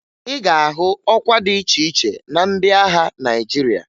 Ị ga-ahụ ọkwa dị iche iche na ndị agha Naịjirịa